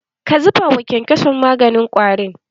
Ka zuba wa kyankyason maganin ƙwari?